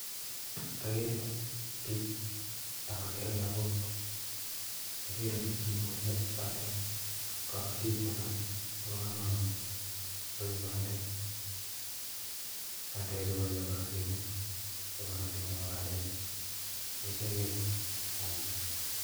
Ageere biik ak agere logook, ageere biik chebore bandek, kobotiik choton chebo komonut chekole bandek, bandekyu kochenge rabinik